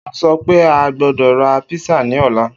O sọ pe a gbọdọ ra písà ni ọla